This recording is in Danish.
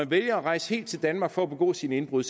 vælger at rejse helt til danmark for at begå sine indbrud